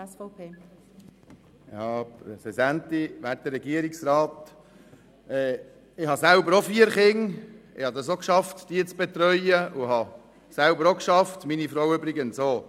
Ich habe selber vier Kinder und habe es geschafft, sie zu betreuen, obwohl ich gearbeitet habe, meine Frau übrigens auch.